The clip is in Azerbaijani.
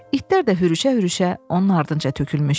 İtlər də hürüşə-hürüşə onun ardınca tökülmüşdü.